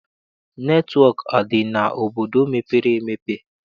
Netịwọk adị n'obodo mepere emepe?